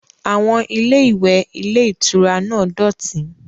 Àwọn ilé-ìwẹ̀ ilé-ìtura náà dọ̀tí.